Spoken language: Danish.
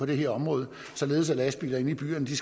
det her område således at lastbiler inde i byerne